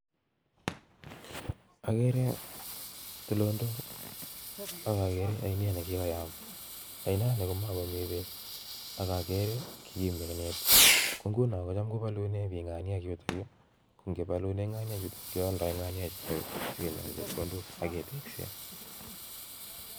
Akere tulondok ak akakere ainet nekikoyam ainoni makomi bek akakere Kimi ainet yu nguno cham kobalune bik ng'aniek yutokyu ngebalune ng'aniek yutok kealdoi nga'neik chutok akinyoru chepkondok ak ketekse